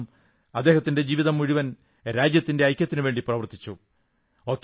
കാരണം അദ്ദേഹം ജീവിതം മുഴുവൻ രാജ്യത്തിന്റെ ഐക്യത്തിനുവേണ്ടി പ്രവർത്തിച്ചു